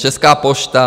Česká pošta.